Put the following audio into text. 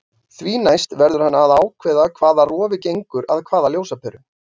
Því næst verður hann að ákveða hvaða rofi gengur að hvaða ljósaperu.